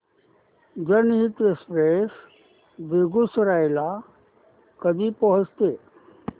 जनहित एक्सप्रेस बेगूसराई ला कधी पोहचते